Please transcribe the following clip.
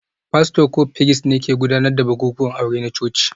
Fasto ko firist ne ke gudanar da bukukuwan aure na coci